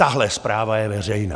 Tahle zpráva je veřejná!